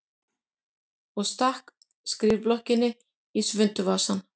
Og stakk skrifblokkinni í svuntuvasann.